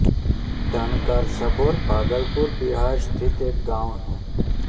धन्कार सबौर भागलपुर बिहार स्थित एक गाँव है